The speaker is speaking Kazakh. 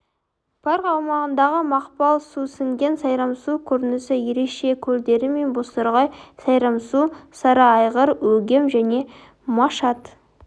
парк аумағындағы мақпал сусіңген сайрамсу көрінісі ерекше көлдері мен бозторғай сайрамсу сарыайғыр өгем және машат